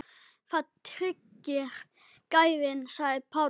Það tryggir gæðin sagði Páll.